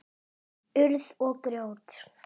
Urð og grjót.